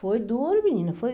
Foi duro, menina. Foi